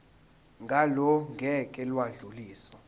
ngalo ngeke lwadluliselwa